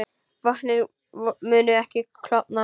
Vötnin munu ekki klofna